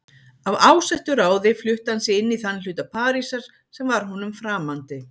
Af ásettu ráði flutti hann sig inn í þann hluta Parísar sem var honum framandi.